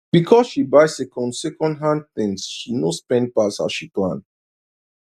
because she buy second second hand things she no spend pass how she plan